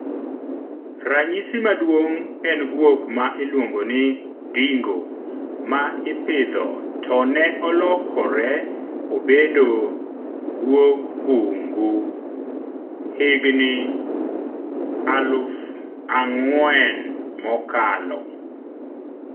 Rnyisi maduong' en guok ma iluongo ni dingo ma ipidho to ne olokre obedo guog bungu igni aluf ang'wen mokalo.